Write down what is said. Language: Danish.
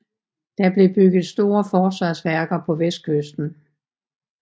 Der blev bygget store forsvarsværker på vestkysten